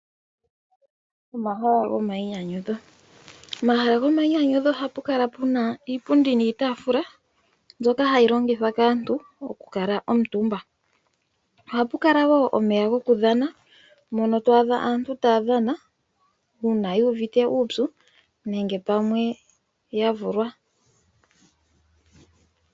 Omahala go mayinyanyudho. Pomahala gomayinyanyudho ohapu kala pena iipundi niitafula mbyoka hayi longithwa kaantu oku kuutumba . Ohapu kala woo omeya gokudhana mono to adha aantu taya dhana uuna yu uvite uupyu nenge pamwe yavule.